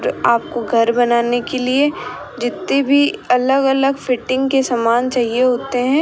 आपको घर बनाने के लिए जित्ती भी अलग अलग फिटिंग के सामान चाहिए होते हैं।